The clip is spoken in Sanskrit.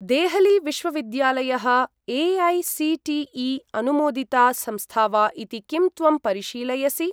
देहली विश्वविद्यालयः ए.ऐ.सी.टी.ई.अनुमोदिता संस्था वा इति किं त्वं परिशीलयसि?